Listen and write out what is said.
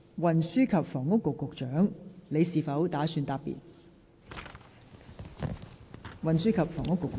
運輸及房屋局局長，你是否打算答辯？